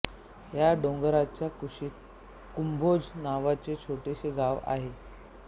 या डोंगराच्या कुशीत कुंभोज नावाचे छोटेशे गाव आहे